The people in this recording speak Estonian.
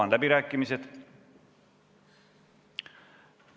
Avan läbirääkimised.